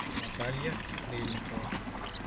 наталья стрельникова